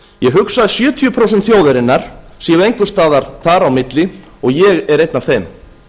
ég hugsa að sjötíu prósent þjóðarinnar séu einhvers staðar þar á milli og ég er einn af þeim